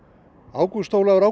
ágúst Ólafur